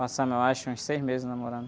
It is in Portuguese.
Passamos, eu acho, uns seis meses namorando.